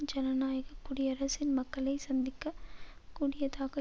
ஜனநாயக குடியரசின் மக்களை சந்திக்க கூடியதாக